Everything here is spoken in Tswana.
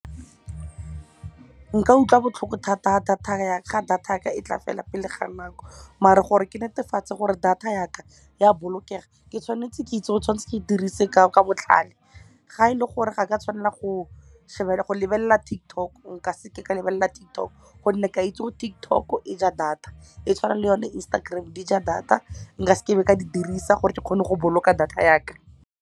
Nka utlwa botlhoko thata ga data yaka e tla fela pele ga nako. maar gore ke netefatsa gore data yaka ya bolokega ke tshwanetse ke itse gore tshwanetse ke dirise ka botlhale. Ga e le gore ga ka tshwanela go lebelela TikTok, nka seke ka lebelela TikTok gonne ke itse go TikTok e ja data, e tshwana le yone Instagram, di ja data. Nka seke be ka di dirisa gore ke kgone go boloka data yaka.